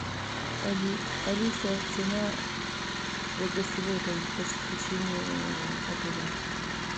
алиса цена за гостевое посещение отеля